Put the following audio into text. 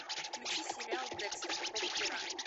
включи сериал декстер пробы пера